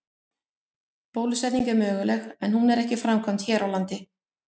Bólusetning er möguleg en hún er ekki framkvæmd hér á landi.